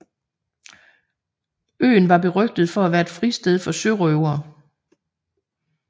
Øen var berygtet for at være et fristed for sørøvere